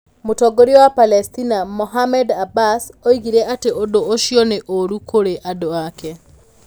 Mũtongoria wa Palesitina, Mahmoud Abbas, oigire atĩ ũndũ ũcio nĩ 'ũru' kũrĩ andũ ake.